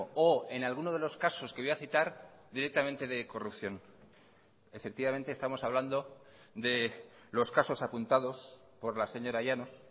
o en alguno de los casos que voy a citar directamente de corrupción efectivamente estamos hablando de los casos apuntados por la señora llanos